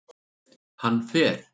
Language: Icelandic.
Hann fer